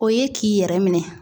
O ye k'i yɛrɛ minɛ